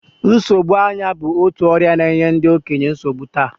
Nsogbu anya bụ otu ọrịa na-enye ndị okenye nsogbu taa